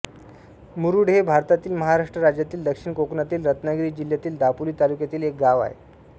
मुरूड हे भारतातील महाराष्ट्र राज्यातील दक्षिण कोकणातील रत्नागिरी जिल्ह्यातील दापोली तालुक्यातील एक गाव आहे